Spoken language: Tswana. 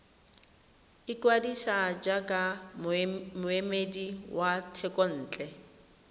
ikwadisa jaaka moemedi wa thekontle